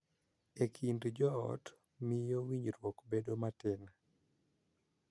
E kind jo ot, miyo winjruok bedo matin